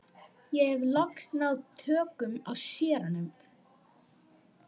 Ég hef loks náð tökum á séranum.